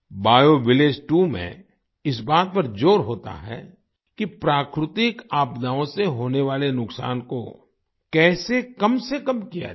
bio village 2 में इस बात पर ज़ोर होता है कि प्राकृतिक आपदाओं से होने वाले नुकसान को कैसे कम से कम किया जाए